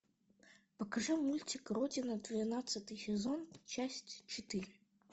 покажи мультик родина двенадцатый сезон часть четыре